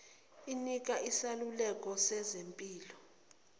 inikwa iseluleko sezempilo